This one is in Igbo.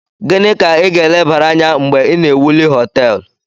Gini ka i ga elebere Anya mgbe I na ewuli hoteelu?